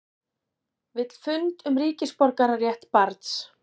Vill fund um ríkisborgararétt barns